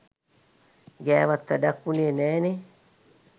ගෑවත් වැඩක් වුනේ නෑ නේ.